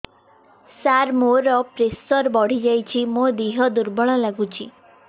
ସାର ମୋର ପ୍ରେସର ବଢ଼ିଯାଇଛି ମୋ ଦିହ ଦୁର୍ବଳ ଲାଗୁଚି